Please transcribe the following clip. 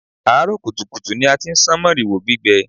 Àárọ̀ kùtùkùtù ni a ti ń sán màrìwò gbígbẹ